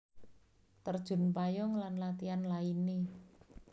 Terjun payung lan latihan lainné